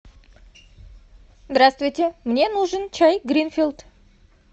здравствуйте мне нужен чай гринфилд